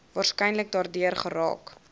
waarskynlik daardeur geraak